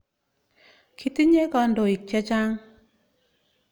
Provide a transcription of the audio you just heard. Kitinye kandoik chechang' .